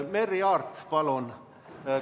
Merry Aart, palun!